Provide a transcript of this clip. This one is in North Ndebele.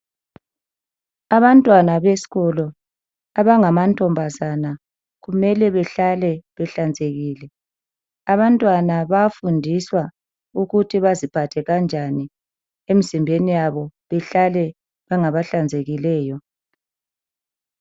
Abantwana beskolo ,abangamantombazana .Kumele behlale behlanzekile , abantwana bayafundiswa ukuthi baziphathe kanjani emzimbeni yabo behlale bengabahlanzekileyo.